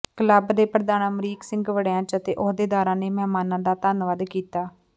club ਦੇ ਪ੍ਰਧਾਨ ਅਮਰੀਕ ਸਿੰਘ ਵੜੈਚ ਅਤੇ ਅਹੁਦੇਦਾਰਾਂ ਨੇ ਮਹਿਮਾਨਾਂ ਦਾ ਧੰਨਵਾਦ ਕੀਤਾ